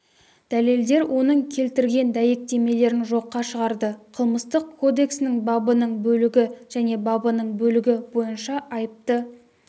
дәлелдер оның келтірген дәйектемелерін жоққа шығарды қылмыстық кодексінің бабының бөлігі және бабының бөлігі бойынша айыпты